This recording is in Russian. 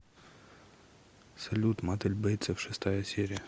салют матель бейтцов шестая серия